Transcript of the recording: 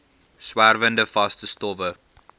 swerwende vaste stowwe